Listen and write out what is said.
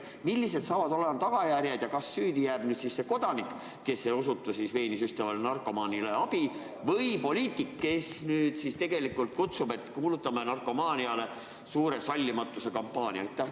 Millised on tagajärjed – kas süüdi jääb nüüd see kodanik, kes ei osuta veeni süstivale narkomaanile abi, või poliitik, kes tegelikult kutsub üles, et kuulutame narkomaania vastu välja suure sallimatuse kampaania?